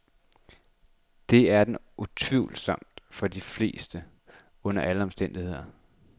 Det er den utvivlsomt for de fleste under alle omstændigheder.